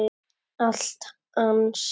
Allt hans.